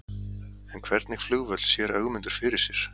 En hvernig flugvöll sér Ögmundur fyrir sér?